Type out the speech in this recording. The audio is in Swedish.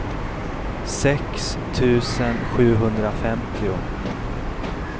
sex tusen sjuhundrafemtio